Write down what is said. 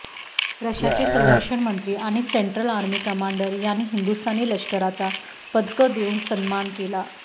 रशियाचे संरक्षण मंत्री आणि सेंट्रल आर्मी कमांडर यांनी हिंदुस्थानी लष्कराचा पदकं देऊन सन्मान केला